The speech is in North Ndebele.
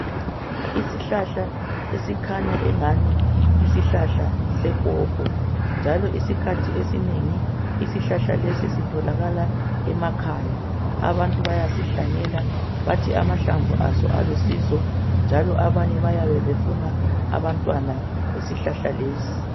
Isihlahla esikhanya engani yisihlahla sepopo. Njalo isikhathi esinengi isihlahla lesi sitholakala emakhaya . Abantu bayasihlanyela bathi amahlamvu aso alusizo njalo abanye bayabe befuna abantwana besihlahla lesi.